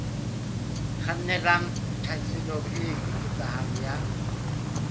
kgannelang tlhaselong e eketsehang ya